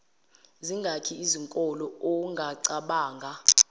zingaki izinkolo ongacabanga